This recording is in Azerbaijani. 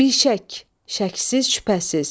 Bişək, şəksiz, şübhəsiz.